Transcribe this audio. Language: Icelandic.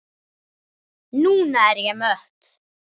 Núna er ég mött.